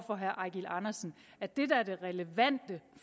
for herre eigil andersen at det der er det relevante